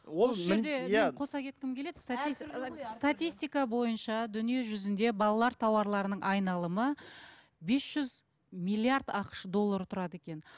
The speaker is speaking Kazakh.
қоса кеткім келеді статистика бойынша дүние жүзінде балалар тауарларының айналымы бес жүз миллиард ақш доллары тұрады екен